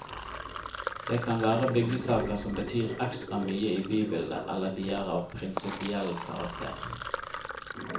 Det kan være byggesaker som betyr ekstra mye i bybildet eller de er av prinsipiell karakter.